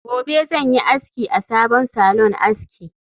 Gobe ​​zanyi aski a sabon salon aski